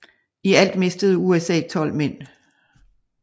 I alt mistede USA tolv mænd